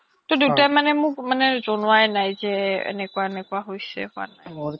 টো দেউতাই মানে মোক জনুৱাই নাই যে এনেকুৱা এনেকুৱা হৈছে হুৱা নাই